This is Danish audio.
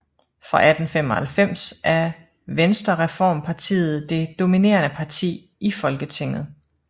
Fra 1895 er Venstrereformpartiet det dominerende parti i Folketinget